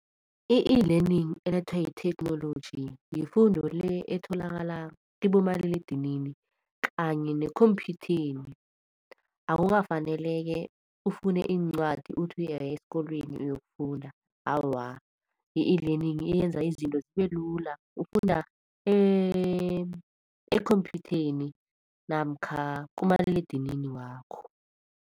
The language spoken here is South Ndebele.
I-eLearning elethwa yitheknoloji yifundo le etholakala kibomaliledinini kanye nekhomphyutheni, akukafaneleke ufune iincwadi uthi uya esikolweni uyokufunda. Awa, i-eLearning iyenza izinto zibelula ufunda ekhompyhutheni namkha kumaliledinini wakho.